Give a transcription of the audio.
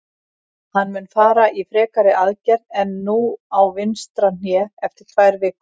Hann mun fara í frekari aðgerð en nú á vinstra hné eftir tvær vikur.